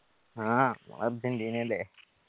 ആ നമ്മള് അർജന്റീന അല്ലെ